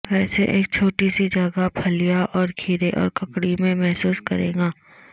ویسے ایک چھوٹی سی جگہ پھلیاں اور کھیرے اور ککڑی میں محسوس کرے گا